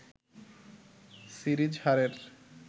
series হারের